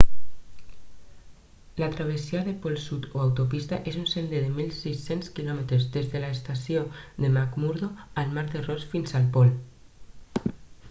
la travessia del pol sud o autopista és un sender de 1600 km des de l'estació de mcmurdo al mar de ross fins el pol